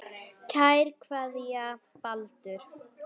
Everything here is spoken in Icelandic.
Kær kveðja, Baldur